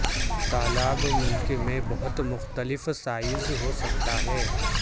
طالاب ملک میں بہت مختلف سائز ہو سکتا ہے